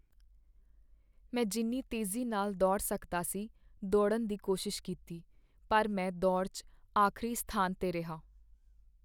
ਮੈਂ ਜਿੰਨੀ ਤੇਜ਼ੀ ਨਾਲ ਦੌੜ ਸਕਦਾ ਸੀ, ਦੌੜਨ ਦੀ ਕੋਸ਼ਿਸ਼ ਕੀਤੀ ਪਰ ਮੈਂ ਦੌੜ 'ਚ ਆਖਰੀ ਸਥਾਨ 'ਤੇ ਰਿਹਾ।